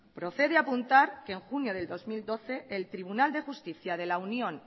procede apuntar que en junio de dos mil doce el tribunal de justicia de la unión